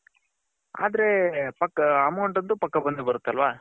ಆದ್ರೆ amount ಅಂತು ಪಕ್ಕ ಬಂದೆ ಬರುತ್ತೆ ಅಲ್ವ .